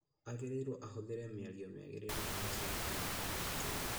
Agĩrĩirwo ahũthire mĩario mĩagĩrĩru agĩcora kana ona akĩina